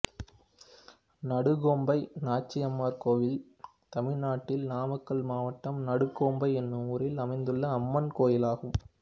நடுக்கோம்பை நாச்சிமார் கோயில் தமிழ்நாட்டில் நாமக்கல் மாவட்டம் நடுக்கோம்பை என்னும் ஊரில் அமைந்துள்ள அம்மன் கோயிலாகும்